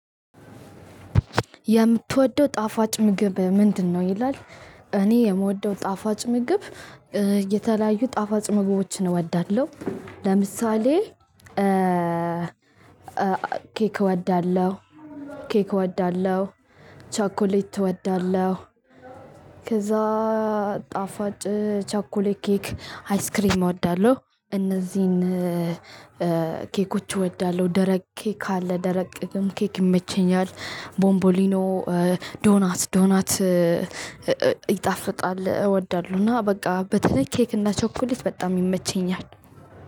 የምትወደው ጣፋጭ ምግብ ምንድን? ነው ይላል። እኔ የምወደው ጣፋጭ ምግብ የተለያዩ ጣፋጭ ምግቦችን እወዳለሁ። ለምሳሌ ኬክ እወዳለሁ። ቸኮሌት እወዳለው። ከዛ ጣፋጭ ቻኮሌት ኬክ አይስክሪም እወዳለሁ። እነዚህን ኬኮች እወዳለሁ። ደረቅ ኬክ ካለ ደረቅ ቅድም ኬክ ይመቸኛል። ቦምቦሊኖ ዶናት ዶናት። ይጣፍጣል እወዳለሁ እና በቃ በትክክል ኬክ እና ቸኮሊት በጣም ይመቸኛል።